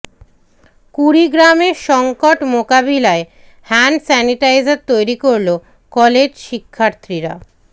কুড়িগ্রামে সংকট মোকাবিলায় hand sanitiser তৈরি করল কলেজ শিক্ষার্থীরা